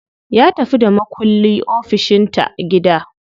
Ya tafi da makulli ofishin ta gida.